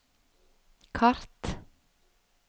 kart